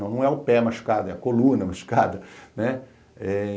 Não, não é o pé machucado, é a coluna machucada, né?